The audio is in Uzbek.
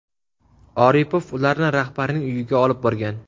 Oripov ularni rahbarning uyiga olib borgan.